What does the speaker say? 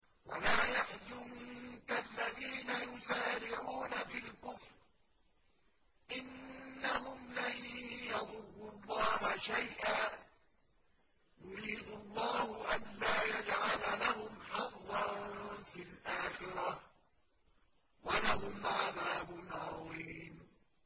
وَلَا يَحْزُنكَ الَّذِينَ يُسَارِعُونَ فِي الْكُفْرِ ۚ إِنَّهُمْ لَن يَضُرُّوا اللَّهَ شَيْئًا ۗ يُرِيدُ اللَّهُ أَلَّا يَجْعَلَ لَهُمْ حَظًّا فِي الْآخِرَةِ ۖ وَلَهُمْ عَذَابٌ عَظِيمٌ